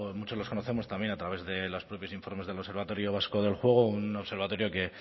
muchos los conocemos también a través de los propios informes del observatorio vasco del juego un observatorio